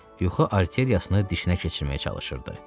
Yuxu arteriyasını dişinə keçirməyə çalışırdı.